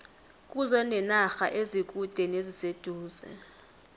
kuze nenarha ezikude neziseduze